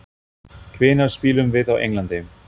Hvenær spilum við á Englandi?